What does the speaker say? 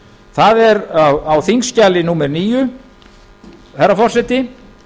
það er á þingskjali númer níu herra forseti